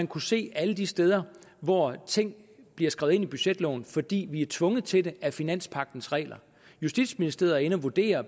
kunne se alle de steder hvor ting bliver skrevet ind i budgetloven fordi vi er tvunget til det af finanspagtens regler justitsministeriet er inde at vurdere